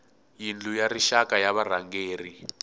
yindlu ya rixaka ya varhangeri